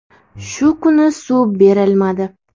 Shu kuni suv berilmadi.